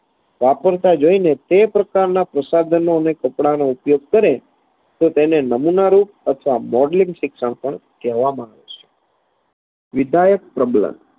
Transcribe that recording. વાપરતા જોઈને તે પ્રકારના પ્રસાધનો અને કપડાનો ઉપયોગ કરે તો તેને નમૂનારૂપ અથવા modelling શિક્ષણ પણ કહેવામાં વિધાયક પ્રબલન